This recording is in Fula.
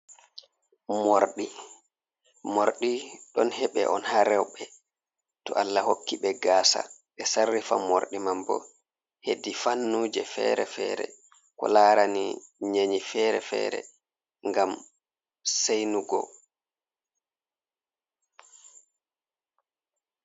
Moorɗi, moorɗi ɗon heɓe on haa rewɓe to Allah hokki ɓe gaasa, ɓe sarrifa Morɗi man bo heedi fannuuji feere-feere, ko laarani nyenyi feere-feere ngam seynugo.